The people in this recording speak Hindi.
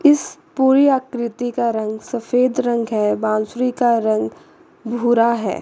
इस पूरी आकृति का रंग सफेद रंग है बांसुरी का रंग भूरा है।